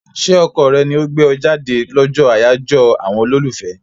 Ṣé ọkọ rẹ ni ó gbé ọ jáde lọ́jọ́ àyájọ́ àwọn olólùfẹ́?